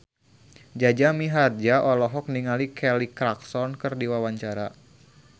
Jaja Mihardja olohok ningali Kelly Clarkson keur diwawancara